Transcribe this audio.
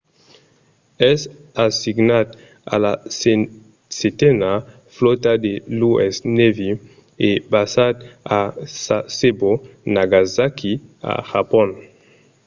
es assignat a la setena flòta de l'u.s. navy e basat a sasebo nagasaki a japon